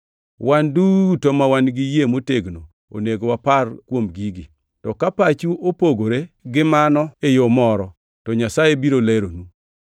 Wan duto ma wan gi yie motegno onego wapar kuom gigi. To ka pachu opogore gi mano e yo moro, to Nyasaye biro leronu.